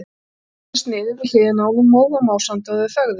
Hún settist niður við hliðina á honum, móð og másandi, og þau þögðu.